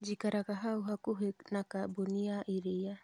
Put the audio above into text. Njikaraga hau hakuhĩ na kambuni ya iria